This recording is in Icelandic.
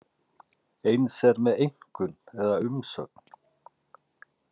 Eins er með einkunn eða umsögn.